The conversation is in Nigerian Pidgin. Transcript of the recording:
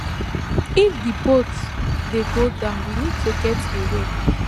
if di boat dey go down we need to get away